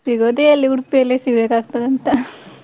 ಸಿಗೋದು ಎಲ್ಲಿ ಉಡುಪಿಯಲ್ಲಿ ಸಿಗ್ಬೇಕಾಗುತ್ತದೆಯಂತ.